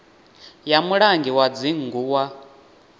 ya mulangi wa dzingu wa